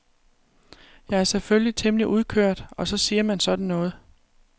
Jeg er selvfølgelig temmelig udkørt og så siger man sådan noget.